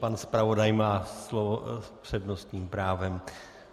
Pan zpravodaj má slovo s přednostním právem.